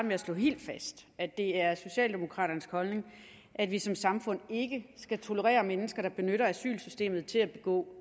med at slå helt fast at det er socialdemokraternes holdning at vi som samfund ikke skal tolerere mennesker der benytter asylsystemet til at begå